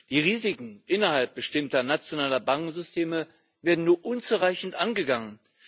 Die Risiken innerhalb bestimmter nationaler Bankensysteme werden nur unzureichend angegangen.